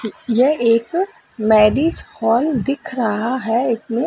यह एक marriage hall दिख रहा है इतने--